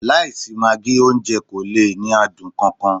Láìsí magí, oúnjẹ kò lè ní adùn kan kan